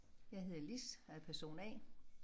Jeg hedder Lis og er person A